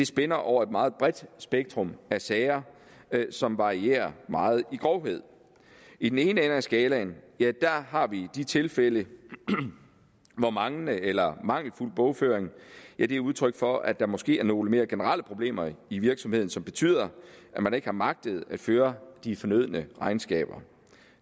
spænder over et meget bredt spektrum af sager som varierer meget i grovhed i den ene ende af skalaen har vi de tilfælde hvor manglende eller mangelfuld bogføring er udtryk for at der måske er nogle mere generelle problemer i virksomheden som betyder at man ikke har magtet at føre de fornødne regnskaber